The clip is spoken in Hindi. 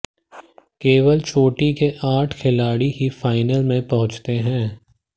केवल चोटी के आठ खिलाड़ी ही फाइनल में पहुंचते हैं